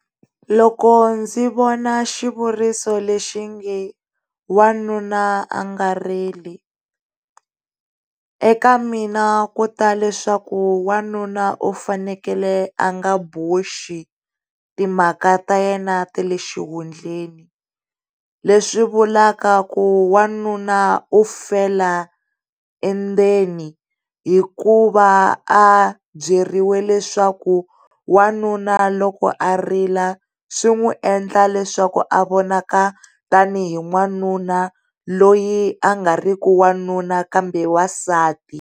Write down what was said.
Loko ndzi vona xivuriso lexinge, wanuna a nga rili, eka mina ku ta leswaku wanuna u fanekele a nga boxi timhaka ta yena ta le xihundleni leswi vulavula ku wanuna u fela endzeni hikuva a byeriwa leswaku wanuna loko a rila swi n'wi endla leswaku a vonaka tanihi wanuna loyi a nga ri ki wanuna kambe wansati.